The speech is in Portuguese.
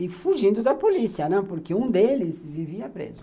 E fugindo da polícia, né, porque um deles vivia preso.